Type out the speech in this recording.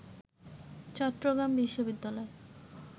চট্টগ্রাম বিশ্ববিদ্যালয়